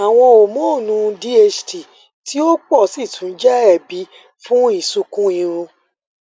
iwọn homonu dht ti o pọ si tun jẹ ẹbi fun isunkun irun